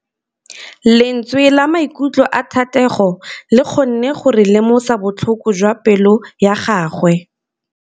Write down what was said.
Lentswe la maikutlo a Thategô le kgonne gore re lemosa botlhoko jwa pelô ya gagwe.